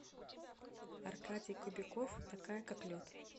аркадий кобяков такая как лед